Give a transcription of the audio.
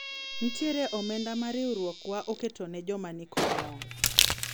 nitiere omenda ma riwruogwa oketo ne joma nikod ng'ol